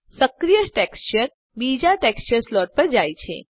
સક્રિય ટેક્સચર બીજા texture slot પર જાય છે